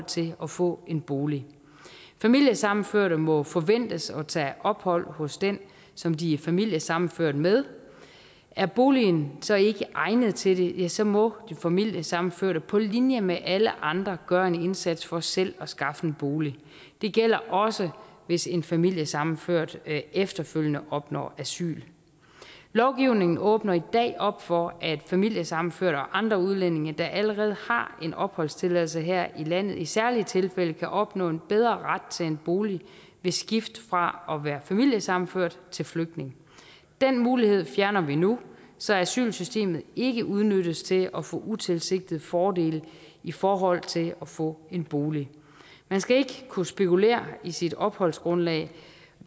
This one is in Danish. til at få en bolig familiesammenførte må forventes at tage ophold hos den som de er familiesammenført med er boligen så ikke egnet til det ja så må de familiesammenførte på linje med alle andre gøre en indsats for selv at skaffe en bolig det gælder også hvis en familiesammenført efterfølgende opnår asyl lovgivningen åbner i dag op for at familiesammenførte og andre udlændinge der allerede har en opholdstilladelse her i landet i særlige tilfælde kan opnå en bedre ret til en bolig ved skift fra at være familiesammenført til flygtning den mulighed fjerner vi nu så asylsystemet ikke udnyttes til at få utilsigtede fordele i forhold til at få en bolig man skal ikke kunne spekulere i sit opholdsgrundlag